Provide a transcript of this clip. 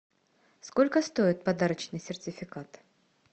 сколько стоит подарочный сертификат